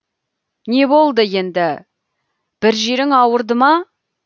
не болды енді бір жерің ауырды ма